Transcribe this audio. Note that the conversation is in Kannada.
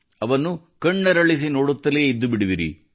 ಅವನ್ನು ಕಣ್ಣರಳಿಸಿ ನೋಡುತ್ತಲೇ ಇದ್ದುಬಿಡುವಿರಿ